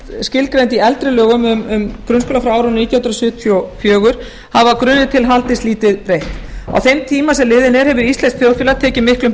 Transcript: skilgreind í eldri lögum um grunnskóla frá árinu nítján hundruð sjötíu og fjögur hafa að grunni til haldist lítið breytt á þeim tíma sem liðinn er hefur íslenskt þjóðfélag tekið miklum